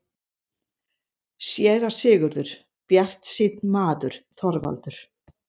SÉRA SIGURÐUR: Bjartsýnn maður, Þorvaldur!